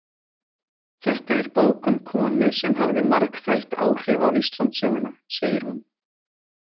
Þetta er bók um konu sem hafði margþætt áhrif á Íslandssöguna, segir hún.